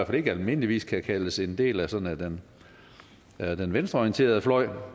fald ikke almindeligvis kan kaldes en del af sådan den venstreorienterede fløj